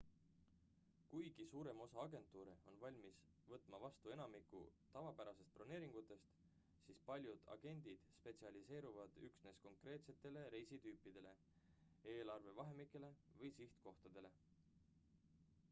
kuigi suurem osa agentuure on valmis võtma vastu enamikku tavapärastest broneeringutest siis paljud agendid spetsialiseeruvad üksnes konkreetsetele reisitüüpidele eelarve vahemikele või sihtkohtadele